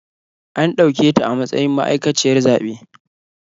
An ɗauketa a matsayin ma'aikaciyar zaɓe.